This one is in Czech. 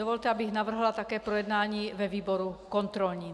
Dovolte, abych navrhla také projednání ve výboru kontrolním.